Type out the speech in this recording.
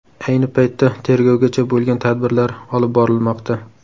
Ayni paytda tegrovgacha bo‘lgan tadbirlar olib borilmoqda.